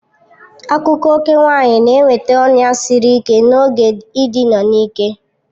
Akụkụ ókè nwanyị na-enweta ọnya siri ike n'oge ịdị a n'ike.